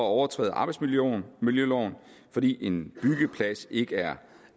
overtræde arbejdsmiljøloven fordi en byggeplads ikke er